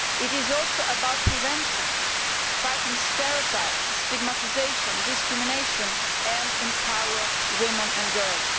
It is also about prevention, about fighting stereotypes, stigmatisation and discrimination, and about empowering women and girls.